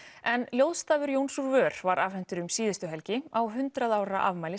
en ljóðstafur Jóns úr var afhentur um síðustu helgi á hundrað ára afmæli